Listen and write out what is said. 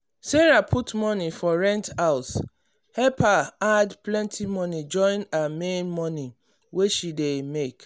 sarah put money for rent house help her add plenty money join her main money wey she dey make.